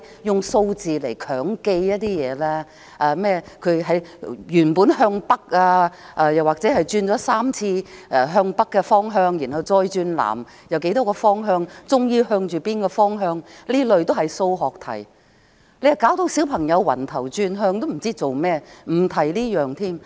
用數字來強記一些內容，甚麼原本向北，轉了3次向北的方向，然後再轉向南多少，最終向着哪個方向等，這些都是數學題，令小朋友頭暈轉向，也不知自己在做甚麼，我不提這一點了。